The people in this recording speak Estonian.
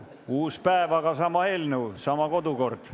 Uus päev, aga sama eelnõu ja sama kodukord.